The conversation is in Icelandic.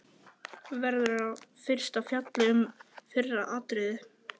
Verður fyrst fjallað um fyrra atriðið.